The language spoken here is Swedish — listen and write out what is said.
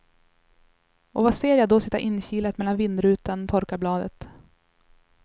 Och vad ser jag då sitta inkilat mellan vindrutan och torkarbladet.